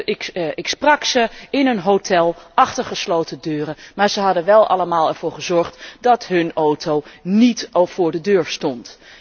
Ik sprak met hen in een hotel, achter gesloten deuren, maar zij hadden er wel allemaal voor gezorgd dat hun auto niet voor de deur stond.